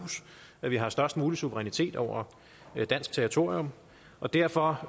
at vi har størst mulig suverænitet over dansk territorium og derfor